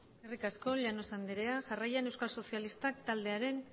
eskerrik asko llanos andrea jarraian euskal sozialistak taldearen